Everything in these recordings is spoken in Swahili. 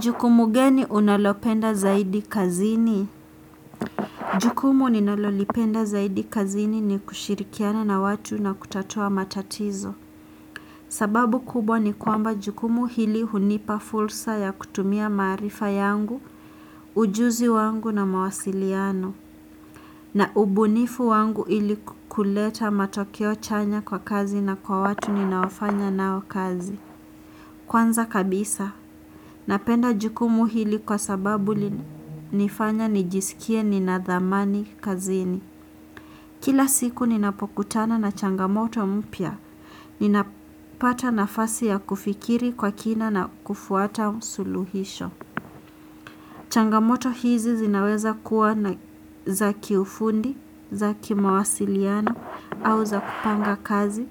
Jukumu gani unalopenda zaidi kazini? Jukumu ninalolipenda zaidi kazini ni kushirikiana na watu na kutatua matatizo. Sababu kubwa ni kwamba jukumu hili hunipa fursa ya kutumia maarifa yangu ujuzi wangu na mawasiliano. Na ubunifu wangu ili kuleta matokeo chanya kwa kazi na kwa watu ninaofanya nao kazi. Kwanza kabisa napenda jukumu hili kwa sababu nifanya nijisikie nina dhamani kazini. Kila siku ninapokutana na changamoto mpya. Ninapata nafasi ya kufikiri kwa kina na kufuata msuluhisho. Changamoto hizi zinaweza kuwa na za kiufundi za kimawasiliano au za kupanga kazi.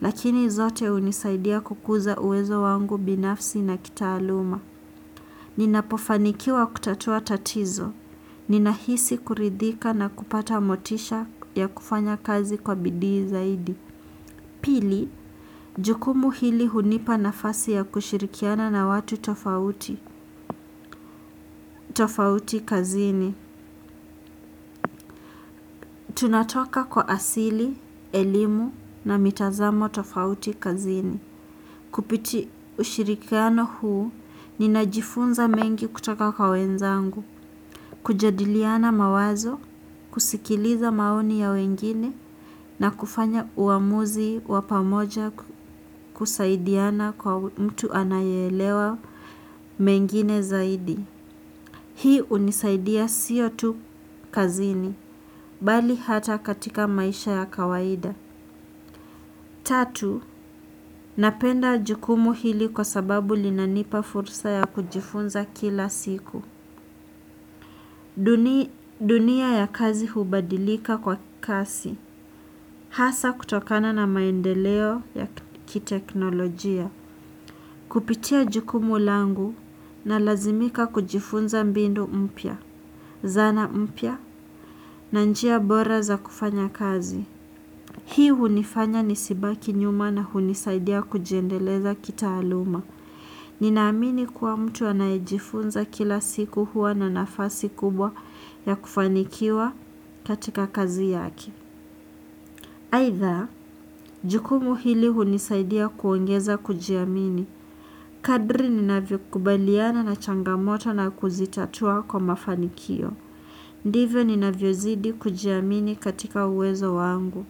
Lakini zote hunisaidia kukuza uwezo wangu binafsi na kitaaluma. Ninapofanikiwa kutatua tatizo ninahisi kuridhika na kupata motisha ya kufanya kazi kwa bidii zaidi. Pili jukumu hili hunipa nafasi ya kushirikiana na watu tofauti. Tofauti kazini tunatoka kwa asili elimu na mitazamo tofauti kazini. Kupitia ushirikiano huu ninajifunza mengi kutoka kwa wenzangu. Kujadiliana mawazo kusikiliza maoni ya wengine na kufanya uamuzi wa pamoja kusaidiana kwa mtu anaye elewa mengine zaidi. Hii hunisaidia siyo tu kazini bali hata katika maisha ya kawaida. Tatu napenda jukumu hili kwa sababu linanipa fursa ya kujifunza kila siku. Dunia ya kazi hubadilika kwa kasi. Hasa kutokana na maendeleo ya kiteknolojia. Kupitia jukumu langu na lazimika kujifunza mbinu mpya. Zana mpya na njia bora za kufanya kazi. Hii hunifanya nisibaki nyuma na hunisaidia kujiendeleza kitaaluma. Ninaamini kuwa mtu anayejifunza kila siku huwa na nafasi kubwa ya kufanikiwa katika kazi yake. Aidha, jukumu hili hunisaidia kuongeza kujiamini. Kadri ninavyo kubaliana na changamoto na kuzitatua kwa mafanikio. Ndivyo ninavyo zidi kujiamini katika uwezo wangu.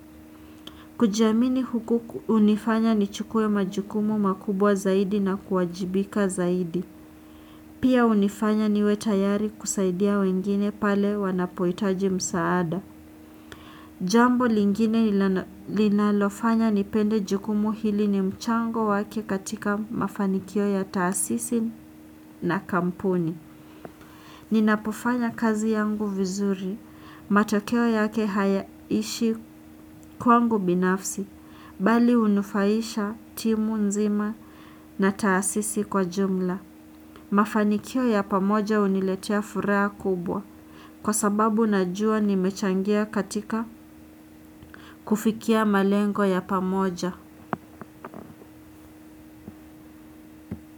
Kujiamini huku hunifanya nichukue majukumu makubwa zaidi na kuwajibika zaidi. Pia hunifanya niwe tayari kusaidia wengine pale wanapohitaji msaada. Jambo lingine linalofanya nipende jukumu hili ni mchango wake katika mafanikio ya taasisi na kampuni. Ninapofanya kazi yangu vizuri matokeo yake hayaishi kwangu binafsi bali hunufaisha timu nzima na taasisi kwa jumla. Mafanikio ya pamoja huniletia furaha kubwa. Kwa sababu najua nimechangia katika kufikia malengo ya pamoja.